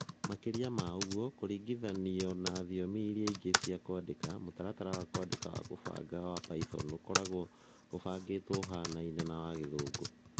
Makĩria ma ũguo, kũringithanio na thiomi iria ingĩ cia kwandĩka, mũtaratara wa kwandĩka wa kũbanga wa Python ũkoragwo ũbangĩtwo ũhaanane na wa Gĩthũngũ.